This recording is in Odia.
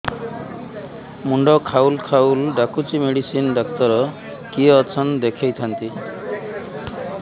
ମୁଣ୍ଡ ଖାଉଲ୍ ଖାଉଲ୍ ଡାକୁଚି ମେଡିସିନ ଡାକ୍ତର କିଏ ଅଛନ୍ ଦେଖେଇ ଥାନ୍ତି